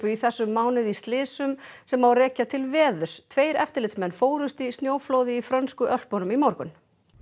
í þessum mánuði í slysum sem rekja má til veðurs tveir eftirlitsmenn fórust í snjóflóði í frönsku Ölpunum í morgun